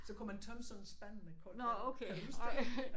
Så kunne man tømme sådan en spand med koldt vand kan du huske det